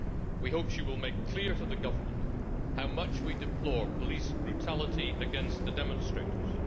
We hope she will make clear to the government how much we deplore police brutality against the demonstrators.